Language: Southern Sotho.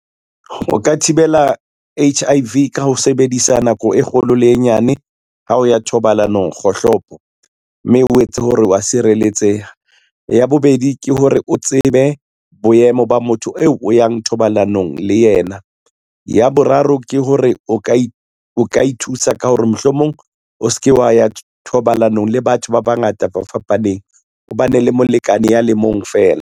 O ka thibela H_I_V ka ho sebedisa nako e kgolo le e nyane, ha o ya thobalanong kgohlopo, mme o etse hore wa sireletseha. Ya bobedi ke hore, o tsebe boemo ba motho eo o yang thobalanong ke yena. Ya boraro ke hore, o ka ithusa ka hore mohlomong o se ke wa ya thobalanong le batho ba bangata ba fapaneng, o bane le molekane ya le mong fela.